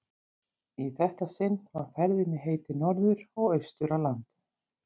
Í þetta sinn var ferðinni heitið norður og austur á land.